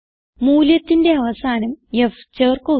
മൂല്യത്തിന്റെ അവസാനം f ചേർക്കുക